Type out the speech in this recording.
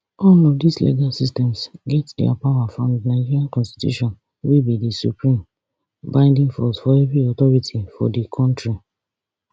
all of dis legal systems get dia power from di nigeria constitution wey be di supreme binding force for every authority for di kontri